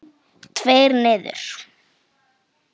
Tveir niður?